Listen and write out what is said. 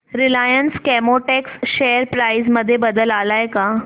Reliance Chemotex share price मध्ये बदल आलाय का